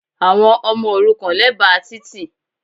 Àwọn ọmọ òrukàn lẹ́bàá títì